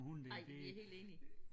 Ej vi er helt enige